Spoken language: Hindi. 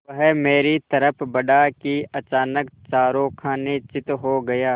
वह मेरी तरफ़ बढ़ा कि अचानक चारों खाने चित्त हो गया